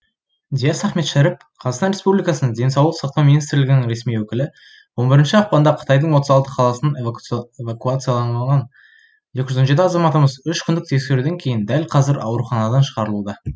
диас ахметшәріп қазақстан республикасының денсаулық сақтау министрлігінің ресми өкілі он бірінші ақпанда қытайдың отыз алты қаласынан эвакуацияланған екі жүз он жеті азаматымыз үш күндік тексеруден кейін дәл қазір ауруханадан шығарылуда